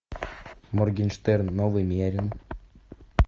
моргенштерн новый мерин